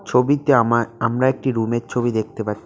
ছবিতে আমা আমরা একটি রুমের ছবি দেখতে পা--